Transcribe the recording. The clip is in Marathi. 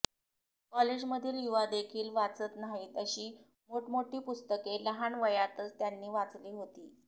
कॉलेजमधील युवादेखील वाचत नाहीत अशी मोठमोठी पुस्तके लहान वयातच त्यांनी वाचली होती